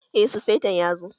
Eh sufeton ya zo